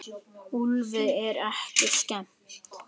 Úlfi er ekki skemmt.